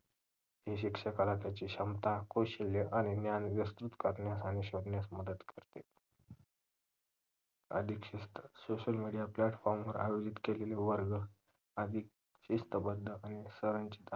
हे शिक्षकाला त्यांची क्षमता कौशल्य आणि ज्ञान विस्तृत करण्यास आणि शोधण्यास मदत करते. अधिक शिस्त social media platform वर आयोजित केलेले वर्ग अधिक शिस्तबद्ध आणि SIR ची